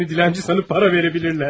Səni dilənçi sanıb pul verə bilərlər.